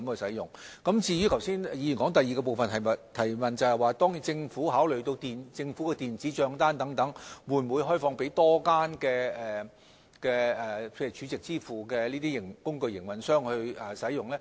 議員剛才提出的第二項補充質詢，是政府會否考慮把電子帳單的支付平台開放給更多儲值支付工具營運商。